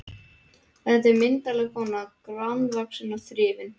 Þetta er myndarleg kona, grannvaxin og þrifin.